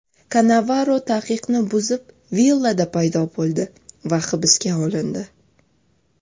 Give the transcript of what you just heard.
Kannavaro taqiqni buzib villada paydo bo‘ldi va hibsga olindi.